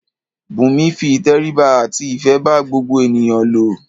Bùnmi fi ìtẹríba àti ìfé bá gbogbo ènìyàn lò.